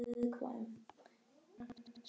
Það má hann alls ekki.